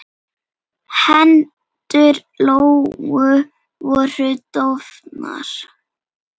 Hendur Lóu voru dofnar.